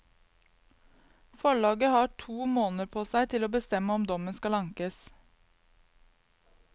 Forlaget har to måneder på seg til å bestemme om dommen skal ankes.